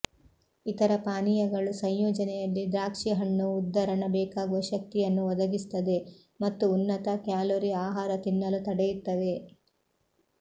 ಇತರ ಪಾನೀಯಗಳು ಸಂಯೋಜನೆಯಲ್ಲಿ ದ್ರಾಕ್ಷಿಹಣ್ಣು ಉದ್ಧರಣ ಬೇಕಾಗುವ ಶಕ್ತಿಯನ್ನು ಒದಗಿಸುತ್ತದೆ ಮತ್ತು ಉನ್ನತ ಕ್ಯಾಲೊರಿ ಆಹಾರ ತಿನ್ನಲು ತಡೆಯುತ್ತವೆ